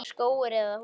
Skógur eða hús?